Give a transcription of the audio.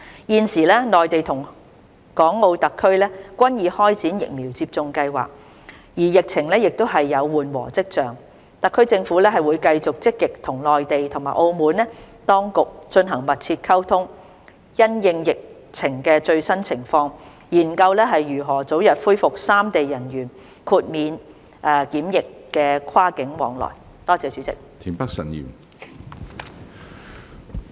現時內地與港澳特區均已開展疫苗接種計劃，而疫情亦有緩和跡象，特區政府會繼續積極與內地及澳門當局進行密切溝通，因應疫情的最新情況，研究如何早日恢復三地人員豁免檢疫跨境往來。